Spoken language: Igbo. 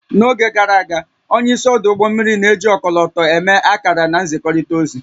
N'oge gara aga, onye isi ọdụ ụgbọ mmiri na-eji ọkọlọtọ eme akara na nzikọrịta ozi